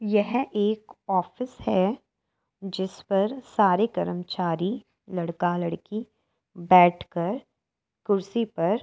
यह एक ऑफिस है। जिस पर सारे कर्मचारी लड़का लड़की बैठकर कुर्सी पर --